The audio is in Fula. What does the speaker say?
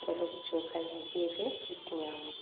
ɓeresi cokali ha gefe lutti nyamugo.